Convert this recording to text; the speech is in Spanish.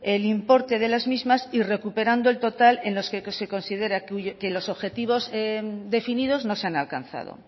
el importe de las mismas y recuperando el total en los que se considera que los objetivos definidos no se han alcanzado